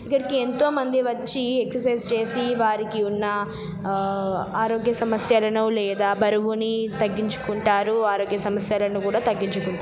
ఇక్కడికి ఎంతమంది వచ్చి ఎక్ససైజ్ చేసి వారికి ఆ ఉన్న ఆరోగ్య సమస్యలు లేదా బరువును తగ్గించుకుంటారు ఆరోగ్య సమస్యలను కూడా తగ్గించుకుంటారు.